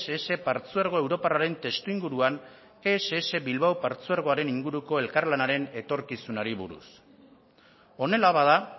ess partzuergo europarraren testuinguruan ess bilbao partzuergoaren inguruko elkarlanaren etorkizunari buruz honela bada